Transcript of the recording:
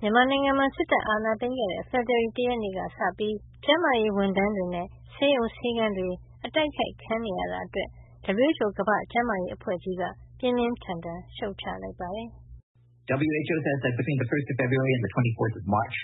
မြန်မာနိုင်ငံမှာ စစ်တပ် အာဏာသိမ်းခဲ့တဲ့ ဖေဖေါ်ဝါရီလ တရက်နေ့ကစပြီး ကျန်းမာရေးဝန်ထမ်းတွေနဲ့ ဆေးရုံဆေးခန်းတွေ အတိုက်ခိုက်ခံနေရတာအတွက် WHO ကမ္ဘာ့ကျန်းမာရေးအဖွဲ့ကြီးက ပြင်းပြင်းထန်ထန်ရှုတ်ချ လိုက်ပါတယ်။ WHO ရဲ့ ပြောကြားချက်အရ ဖေဖေါ်ဝါရီလ တရက်ကနေ မတ်လ ၂၄ ရက်